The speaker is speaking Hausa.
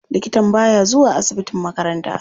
Likatan baya zuwa asibitin makaranta.